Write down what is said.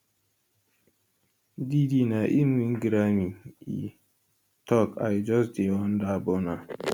diddy na im e win grammy e tok i just dey wonder burna